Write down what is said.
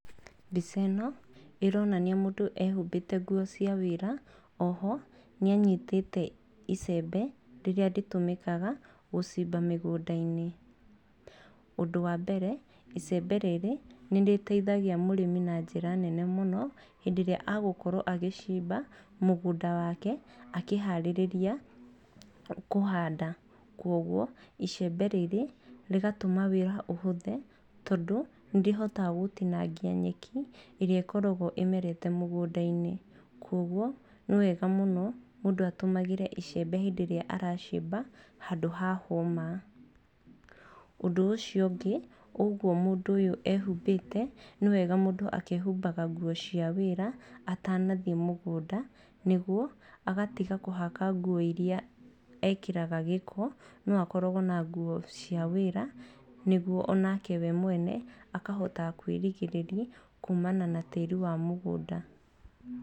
Mbica ĩno ĩronania mũndũ ehumbĩte nguo cia wĩra. Oho nĩ anyitĩte icembe rĩrĩa rĩtũmĩkaga gũcimba mĩgũnda-inĩ. Ũndũ wa mbere, icembe rĩrĩ nĩ rĩteithagia mũrĩmi na njĩra nene mũno hĩndĩ ĩrĩa agũkorwo agĩcimba mũgũnda wake akĩhaarĩrĩria kũhanda. Kwoguo icembe rĩrĩ rĩgatũma wĩra ũhũthe tondũ nĩ rĩhotaga gũtinangia nyeki ĩrĩa ĩkoragwo ĩmerete mũgũnda-inĩ. Kwoguo nĩ wega mũno mũndũ atũmagĩre icembe rĩrĩa ararĩma handũ ha hũma. Ũndũ ũcio ũngĩ ũguo mũndũ ũyũ ehumbĩte, nĩwega mũndũ akehumbaga nguo cia wĩra atanathiĩ mũgũnda. Nĩguo agatiga kũhaka nguo irĩa ekĩraga gĩko no akoragwo na nguo cia wĩra nĩguo onake we mwene akahota kwĩrigĩrĩria kuumana na tĩĩri wa mũgũnda.